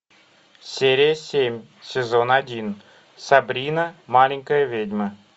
серия семь сезон один сабрина маленькая ведьма